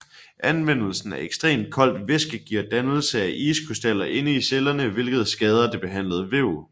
Anvendelsen af ekstremt koldt væske giver dannelse af iskrystaller inde i cellerne hvilket skader det behandlede væv